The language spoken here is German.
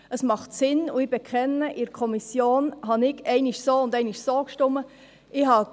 Es macht Sinn, und ich bekenne, dass ich in der Kommission einmal so und einmal so gestimmt habe.